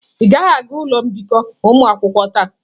Ị gaghị aga ụlọ mbikọ ụmụ nwoke taa.